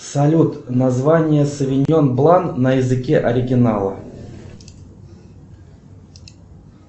салют название совиньон блан на языке оригинала